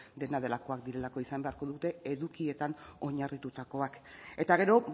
dena delakoak direlako izan beharko dute edukietan oinarritutakoak eta gero